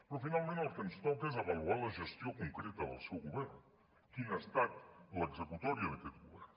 però finalment el que ens toca és avaluar la gestió concreta del seu govern quina ha estat l’executòria d’aquest govern